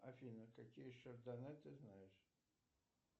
афина какие еще донаты знаешь